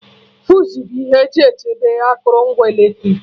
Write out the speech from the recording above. Fuse bụ ihe eji echebe akụrụngwa eletrik